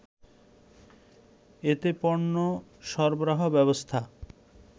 এতেপণ্য সরবরাহ ব্যবস্থা